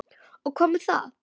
Og hvað með það?